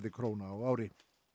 króna á ári